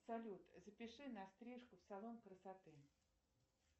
салют запиши на стрижку в салон красоты